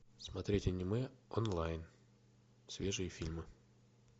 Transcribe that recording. смотреть аниме онлайн свежие фильмы